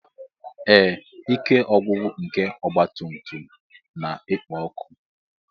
Ee, ike ọgwụgwụ nke ọgba tum tum na-ekpo ọkụ.